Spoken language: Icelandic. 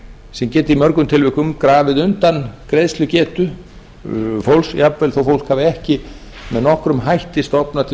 sem geta í mörgum tilvikum grafið undan greiðslugetu fólks jafnvel þó fólk hafi ekki með nokkrum hætti stofnað til